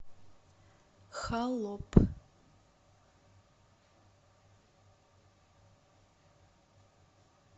холоп